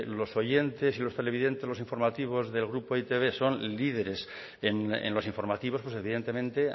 los oyentes y los televidentes de los informativos del grupo e i te be son líderes en los informativos pues evidentemente